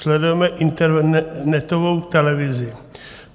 Sledujeme internetovou televizi.